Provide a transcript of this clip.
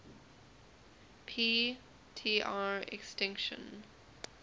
p tr extinction